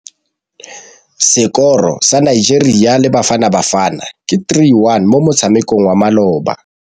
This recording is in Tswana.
Sekôrô sa Nigeria le Bafanabafana ke 3-1 mo motshamekong wa malôba.